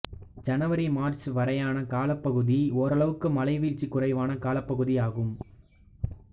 ஜனவரி மார்ச் வரையான காலப்பகுதி ஓரளவுக்கு மழைவீழ்ச்சி குறைவான காலப்பகுதியாகும்